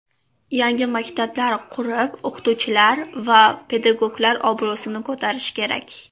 Yangi maktablar qurib, o‘qituvchilar va pedagoglar obro‘sini ko‘tarish kerak.